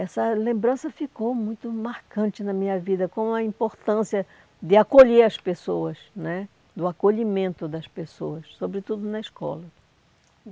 Essa lembrança ficou muito marcante na minha vida, com a importância de acolher as pessoas né, do acolhimento das pessoas, sobretudo na escola.